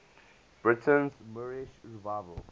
britain's moorish revival